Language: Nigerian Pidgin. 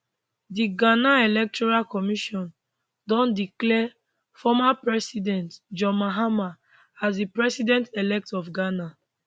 di ghana electoral commission don declare former president john mahama as di presidentelect of ghana